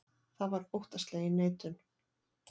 Það var óttaslegin neitun.